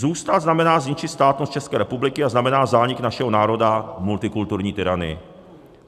Zůstat znamená zničit státnost České republiky a znamená zánik našeho národa v multikulturní tyranii.